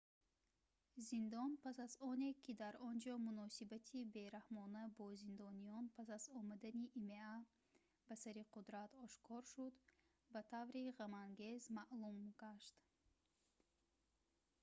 зиндон пас аз оне ки дар онҷо муносибати бераҳмона бо зиндониён пас аз омадани има ба сари қудрат ошкор шуд ба таври ғамангез маъмул гашт